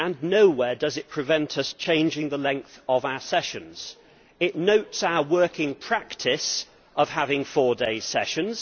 Nowhere does it prevent us changing the length of our sessions. It notes our working practice of having four day sessions.